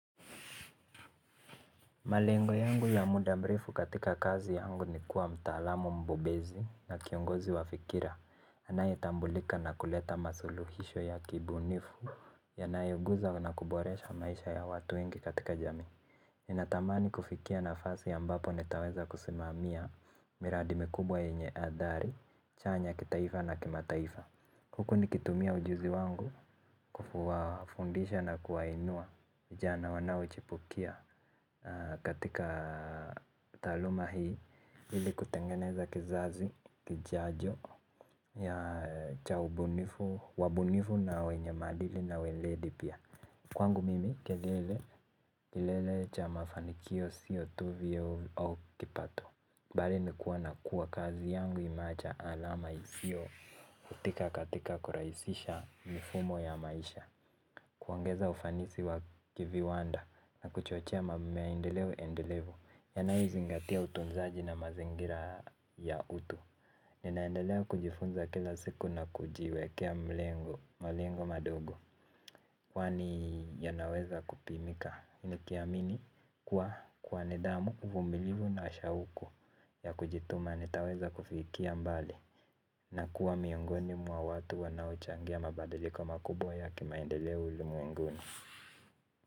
Malengo yangu ya muda mrefu katika kazi yangu ni kuwa mtaalamu mbobezi na kiongozi wa fikira. Anayetambulika na kuleta masuluhisho ya kibunifu ya nayoguza na kuboresha maisha ya watu wengi katika jamii. Ninatamani kufikia na fasi ambapo nitaweza kusimamia miradi mikubwa yenye adhari, chanya kitaifa na kimataifa. Huku nikitumia ujuzi wangu kuwa fundisha na kuwa inua vijana wanaochipukia katika taaluma hii ili kutengeneza kizazi, kijajo, ya cha ubunifu, wabunifu na wenye maadili na weledi pia. Kwangu mimi kelele, kelele cha mafanikio sio tu vyeo au kipato. Bali ni kuwa na kuwa kazi yangu imeacha alama isio futika katika kuraisisha mifumo ya maisha. Kuongeza ufanisi wa kiviwanda na kuchochea maendeleo endelevu yanayo zingatia utunzaji na mazingira ya utu. Nina endelea kujifunza kila siku na kujiwekea malengo madogo. Kwani yanaweza kupimika. Ni kiamini kuwa kwa nidhamu uvumbilivu na ashauku ya kujituma nitaweza kufikia mbali. Na kuwa miongoni mwa watu wanao changia mabadiliko makubwa ya kimaendeleo ulimwenguni.